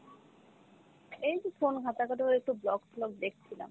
এইতো phone ঘাটা ঘাটি করে একটু vlog টলগ দেখছিলাম ।